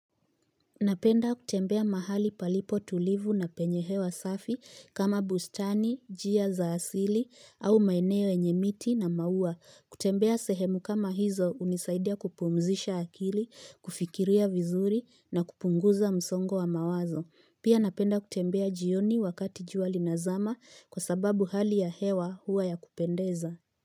Napenda kutembea mahali palipo tulivu na penye hewa safi kama bustani, njia za asili au maeneo yenye miti na mauwa. Kutembea sehemu kama hizo unisaidia kupumzisha akili, kufikiria vizuri na kupunguza msongo wa mawazo. Pia napenda kutembea jioni wakati jua lina zama kwa sababu hali ya hewa hua ya kupendeza.